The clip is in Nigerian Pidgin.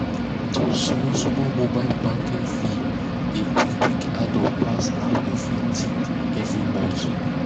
those small small mobile banking fees dey quick quick add up pass how you fit think every month.